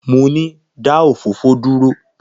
Mo ni, da òfófó duro!